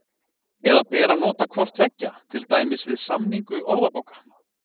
Eða ber að nota hvort tveggja, til dæmis við samningu orðabóka?